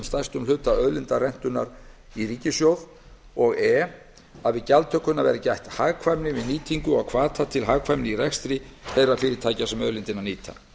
stærstum hluta auðlindarentunnar í ríkissjóð og e að við gjaldtökuna verði gætt að hagkvæmni við nýtingu og hvata til hagkvæmni í rekstri þeirra fyrirtækja sem auðlindina nýta